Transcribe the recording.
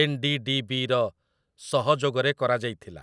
ଏନ୍.ଡି.ଡି.ବି.ର ସହଯୋଗରେ କରାଯାଇଥିଲା ।